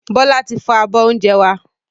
Bọlá tí fọ́ abọ́ ìjẹun wá